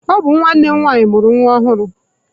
Ọ bụ nwanne m nwanyị mụrụ nwa ọhụrụ.